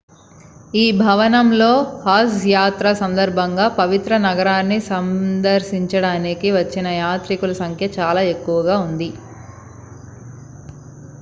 ఈ భవనంలో హజ్ యాత్ర సందర్భంగా పవిత్ర నగరాన్ని సందర్శించడానికి వచ్చిన యాత్రికుల సంఖ్య చాలా ఎక్కువగా ఉంది